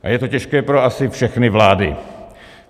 A je to těžké pro asi všechny vlády.